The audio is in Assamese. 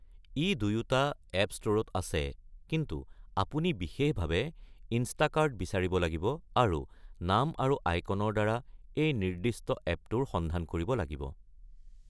ই দুয়োটা এপ্প ষ্ট'ৰত আছে, কিন্তু আপুনি বিশেষভাৱে "ইনষ্টাকাৰ্ট" বিচাৰিব লাগিব আৰু নাম আৰু আইকনৰ দ্বাৰা এই নিৰ্দিষ্ট এপ্পটোৰ সন্ধান কৰিব লাগিব।